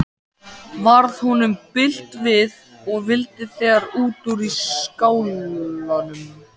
Varð honum bilt við og vildi þegar út úr skálanum.